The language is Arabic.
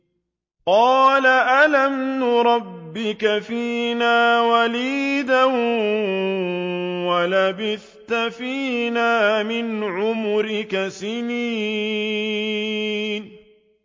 قَالَ أَلَمْ نُرَبِّكَ فِينَا وَلِيدًا وَلَبِثْتَ فِينَا مِنْ عُمُرِكَ سِنِينَ